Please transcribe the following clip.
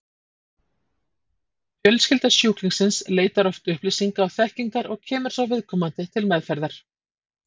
Fjölskylda sjúklingsins leitar oft upplýsinga og þekkingar og kemur svo viðkomandi til meðferðar.